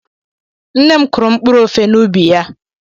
Nne m kụrụ mkpụrụ ofe n'ubi ya.